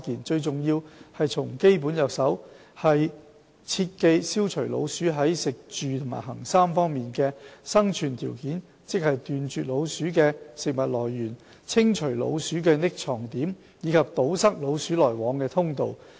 最重要是從基本着手，切記消除老鼠在食、住、行3方面的生存條件，即斷絕老鼠的食物來源食、清除老鼠的藏匿點住及堵塞老鼠來往的通道行。